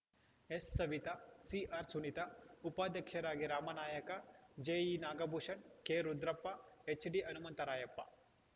ಎಸ್‌ಸವಿತ ಸಿಆರ್‌ಸುನೀತಾ ಉಪಾಧ್ಯಕ್ಷರಾಗಿ ರಾಮನಾಯಕ ಜೆ ಇನಾಗಭೂಷಣ್‌ ಕೆರುದ್ರಪ್ಪ ಎಚ್‌ಡಿಹನುಮಂತರಾಯಪ್ಪ